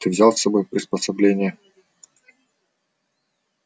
ты взял с собой приспособления